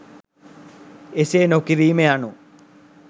එසේ නොකිරීම යනු